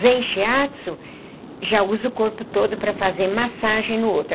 Zen Shiatsu já usa o corpo todo para fazer massagem no outro.